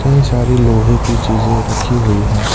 इतनी सारी लोहे की चीजे रखी हुई हैं।